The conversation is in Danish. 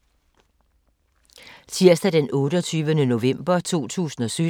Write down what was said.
Tirsdag d. 28. november 2017